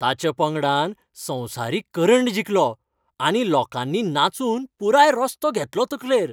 ताच्या पंगडान संवसारीक करंड जिखलो आनी लोकांनी नाचून पुराय रस्तो घेतलो तकलेर.